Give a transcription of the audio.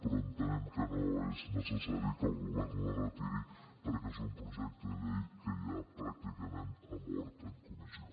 però entenem que no és necessari que el govern la retiri perquè és un projecte de llei que ja pràcticament ha mort en comissió